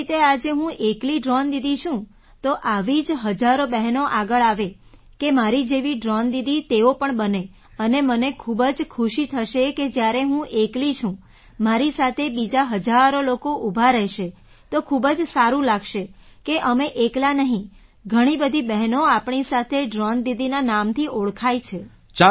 જેવી રીતે આજે હું એકલી ડ્રૉન દીદી છું તો આવી જ હજારો બહેનો આગળ આવે કે મારી જેવી ડ્રૉન દીદી તેઓ પણ બને અને મને ખૂબ જ ખુશી થશે કે જ્યારે હું એકલી છું મારી સાથે બીજા હજારો લોકો ઊભા રહેશે તો ખૂબ જ સારું લાગશે કે અમે એકલાં નહીં ઘણી બધીબહેનો આપણી સાથે ડ્રૉન દીદીના નામથી ઓળખાય છે